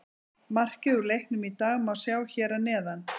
Markið úr leiknum í dag má sjá hér að neðan